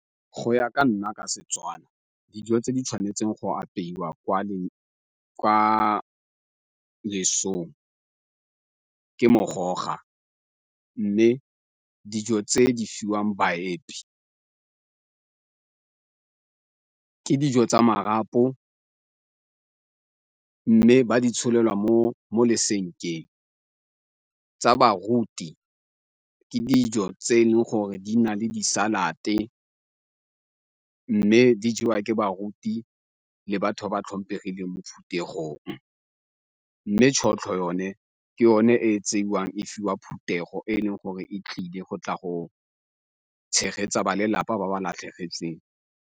Go ya ka nna ka Setswana dijo tse di tshwanetseng go apeiwa kwa lesong ke mogoga, mme dijo tse di fiwang baepi ke dijo tsa marapo mme ba di tsholelwa mo mo lesenkeng, tsa baruti ke dijo tse e leng gore di na le di-salad-te mme di jewa ke baruti le batho ba tlhomphegileng mo phuthegong, mme tšhotlho yone ke yone e tsewang fa wa thutego e leng gore e tlile go tla go tshegetsa ba lelapa ba ba latlhegetsweng.